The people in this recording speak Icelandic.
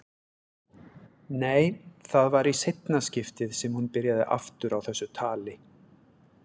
Nei, það var í seinna skiptið sem hún byrjaði aftur á þessu tali.